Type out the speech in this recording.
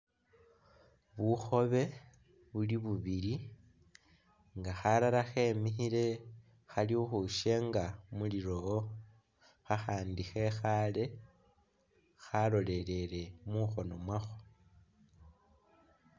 Bukhobe buli bubili nga khalala khemikhile khali khu khwishenga mu lilowo kha khandi khekhale khalolelele mukhono mwakho